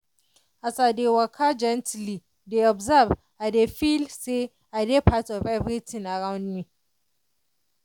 as i dey waka gently dey observe i dey feel say i dey part of everything around me.